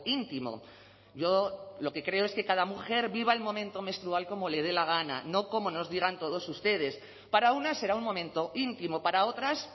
íntimo yo lo que creo es que cada mujer viva el momento menstrual como le dé la gana no como nos digan todos ustedes para unas será un momento íntimo para otras